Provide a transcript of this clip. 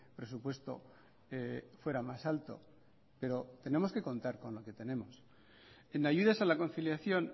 presupuesto fuera más alto pero tenemos que contar con lo que tenemos en ayudas a la conciliación